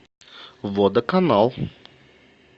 водоканал